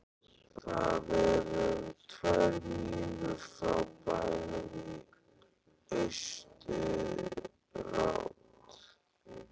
Það er um tvær mílur frá bænum í austurátt.